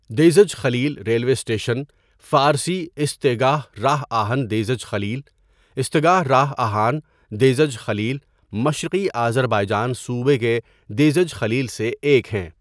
دیزج خلیل railway station فارسی ایستگاه راه آهن دیزج خلیل، استگاہ راہ اہان دیزج خلیل مشرقی آذربائیجان صوبے کے دیزج خلیل سے ایک ہیں۔